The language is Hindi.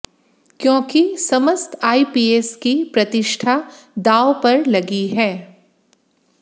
क्योंकि समस्त आईपीएस की प्रतिष्ठा दांव पर लगी है